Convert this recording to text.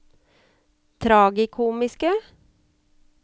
tragikomiske